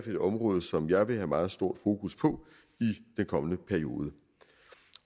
et område som jeg vil have et meget stort fokus på i den kommende periode